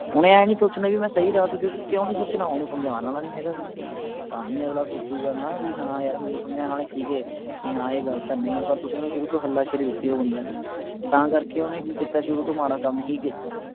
ਓਹਨੇ ਆਏਂ ਨਹੀਂ ਸੋਚਣਾ ਵੀ ਮੈਂ ਸਹੀ ਰਾਹ ਕਿਓਂਕਿ ਕਿਉਂ ਨਹੀਂ ਸੋਚਣਾ ਓਹਨੂੰ ਸਮਝਾਣ ਆਲਾ ਨਹੀਂ ਹੈਗਾ ਕੋਈ ਤਾਂ ਹੀ ਅਗਲਾ ਸੋਚੂਗਾ ਨਾ ਵੀ ਹਾਂ ਯਾਰ ਮੈਨੂੰ ਸਮਝਾਣ ਆਲੇ ਸੀ ਗੇ ਵੀ ਹਾਂ ਇਹ ਗੱਲ ਤਾਂ ਨਹੀਂ ਪਰ ਤੁਸੀਂ ਓਹਨੂੰ ਸ਼ੁਰੂ ਤੋਂ ਹੱਲਾ ਸ਼ੇਰੀ ਦਿੱਤੀ ਉਸ ਬੰਦੇ ਨੇ ਤਾਂ ਕਰਕੇ ਓਹਨੇ ਕਿ ਕੀਤਾ ਸ਼ੁਰੂ ਤੋਂ ਮਾੜਾ ਕੰਮ ਹੀ ਕੀਤਾ